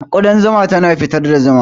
Ƙudan zuma tana fitar da zuma.